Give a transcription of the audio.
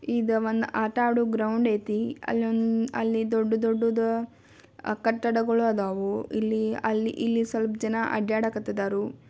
ಇದು ಒಂದು ಆಟ ಆಡೋ ಗ್ರೌಂಡ್ ಅಯ್ತಿ ಅಲ್ಲಿ ಒಂದ ದೊಡ್ಡ ದೊಡ್ಡದು ಕಟ್ಟಡಗಳು ಅದವೋ ಇಲ್ಲಿ ಅಲ್ಲಿ ಸ್ವಲ್ಪ ಜನ ಅಡ್ಡಾಡಕಾತಾರೋ.